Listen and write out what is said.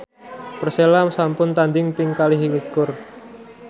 Persela sampun tandhing ping kalih likur